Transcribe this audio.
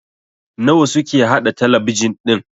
nawa suke haɗa talabijin ɗin?